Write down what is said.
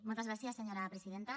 moltes gràcies senyora presidenta